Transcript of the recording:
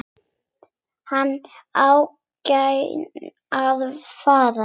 En ánægjan var fjarri.